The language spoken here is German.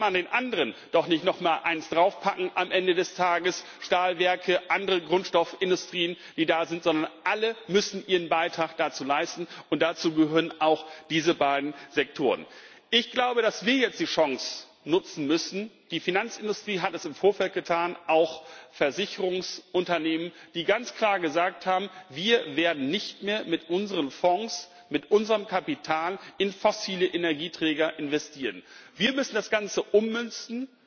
Da kann man den anderen doch nicht noch mal eins draufpacken am Ende des Tages Stahlwerke, andere Grundstoffindustrien, die da sind sondern alle müssen ihren Beitrag dazu leisten, und dazu gehören auch diese beiden Sektoren. Ich glaube, dass wir jetzt die Chance nutzen müssen die Finanzindustrie hat es im Vorfeld getan, auch Versicherungsunternehmen, die ganz klar gesagt haben, wir werden nicht mehr mit unseren Fonds, mit unserem Kapital in fossile Energieträger investieren. Wir müssen das Ganze ummünzen